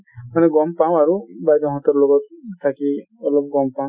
এনে গ'ম পাওঁ আৰু বাইদেউ হতঁৰ লগত থাকি অলপ গ'ম পাওঁ |